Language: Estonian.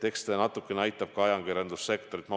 Eks see natukene aitab ka ajakirjandussektorit.